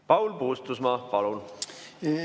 Paul Puustusmaa, palun!